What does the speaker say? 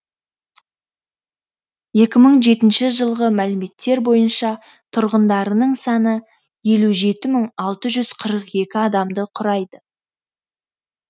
екі мың жетінші жылғы мәліметтер бойынша тұрғындарының саны елу жеті мың алты жүз қырық екі адамды құрайды